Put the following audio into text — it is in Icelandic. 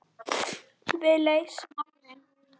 Við leysum málin.